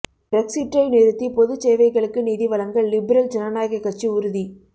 பிரெக்ஸிற்றை நிறுத்தி பொதுச் சேவைகளுக்கு நிதி வழங்க லிபரல் ஜனநாயகக் கட்சி உறுதி